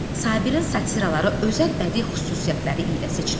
Sabirin satıraları özəl bədii xüsusiyyətləri ilə seçilir.